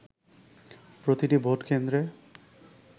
প্রতিটি ভোট কেন্দ্রে